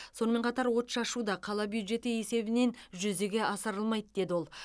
сонымен қатар отшашу да қала бюджеті есебінен жүзеге асырылмайды деді ол